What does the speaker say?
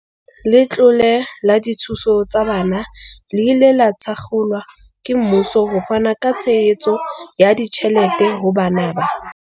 Letlole la dithuso tsa bana le ile la thakgolwa ke mmuso ho fana ka tshehetso ya ditjhelete ho bana ba.